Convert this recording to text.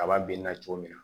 Kaba binna cogo min na